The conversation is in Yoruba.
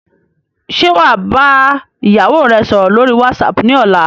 Ṣé wá bá ìyàwó rè sọ̀rọ̀ lórí whatsapp ni ọ̀la?